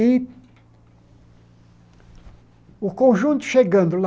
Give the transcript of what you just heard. E o conjunto chegando lá,